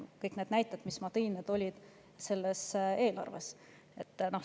Kõik need näited, mis ma tõin, olid selle eelarve kohta.